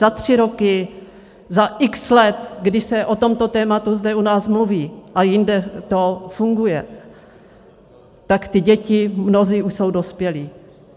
Za tři roky, za x let, kdy se o tomto tématu zde u nás mluví a jinde to funguje, tak ty děti, mnozí už jsou dospělí.